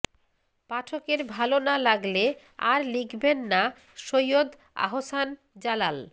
পাঠকের ভালো না লাগলে আর লিখবেন না সৈয়দ আহ্সান জালাল